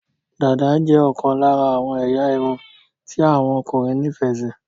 Dàda jé okan lara àwon eya irun ti àwon okunrin ní ìfẹ sí